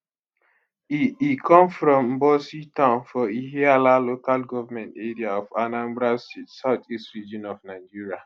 e e come from mbosi town for ihiala local government area of anambra state south east region of nigeria